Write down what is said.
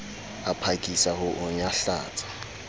a phakisa ho o nyahlatsa